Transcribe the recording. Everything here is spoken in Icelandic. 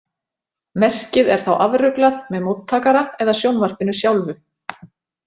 Merkið er þá afruglað með móttakara eða sjónvarpinu sjálfu.